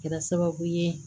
Kɛra sababu ye